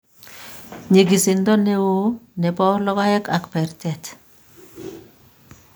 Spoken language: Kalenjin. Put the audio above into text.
nyigiisindo ne oo ne bo logoek ak bertet